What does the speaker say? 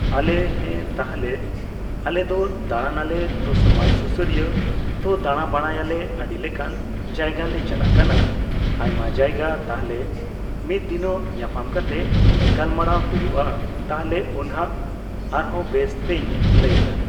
ᱟᱞᱮ ᱦᱮᱸ ᱛᱟᱦᱞᱮ ᱟᱞᱮ ᱫᱚ ᱫᱟᱬᱟ ᱱᱟᱞᱮ ᱛᱚ ᱥᱚᱢᱟᱡᱽ ᱥᱩᱥᱟᱹᱨᱤᱭᱟᱹ ᱛᱚ ᱫᱟᱬᱟ ᱵᱟᱲᱟᱭᱟᱞᱮ ᱟᱰᱤᱞᱮᱠᱟᱱ ᱡᱟᱭᱜᱟ ᱞᱮ ᱪᱟᱞᱟᱜ ᱠᱟᱱᱟ ᱟᱭᱢᱟ ᱡᱟᱭᱜᱟ ᱛᱟᱦᱞᱮ ᱢᱤᱛᱫᱤᱱᱚᱜ ᱧᱟᱯᱟᱢ ᱠᱟᱛᱮ ᱜᱟᱞᱢᱟᱨᱟᱣ ᱦᱩᱭᱩᱜᱼᱟ ᱛᱟᱦᱞᱮ ᱩᱱ ᱦᱟᱸᱜ ᱟᱨᱦᱚᱸ ᱵᱮᱥ ᱛᱮᱧ ᱞᱟᱹᱭᱮᱫᱟ ᱾